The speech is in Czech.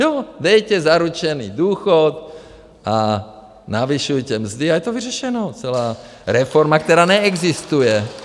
Jo, dejte zaručený důchod a navyšujte mzdy a je to vyřešeno, celá reforma, která neexistuje.